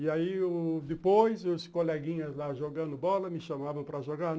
E aí u, depois, os coleguinhas lá jogando bola me chamavam para jogar.